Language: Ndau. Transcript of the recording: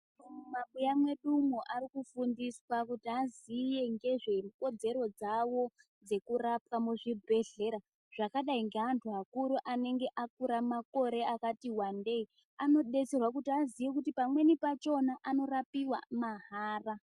Mumabuya mwedu umo arikufundiswa kuti aziye ngezvekodzero dzawo dzekurapwa muzvibhedhlera zvakadi ngeantu akuru anenge akura makore akati wandei anodetserwa kuti aziye kuti pamweni pachona anokwanise kurapiwa mahara.